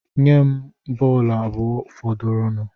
Nye m bọọlụ abụọ fọdụrụnụ